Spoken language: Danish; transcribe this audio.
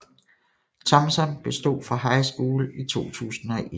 Thompson bestod fra high school i 2001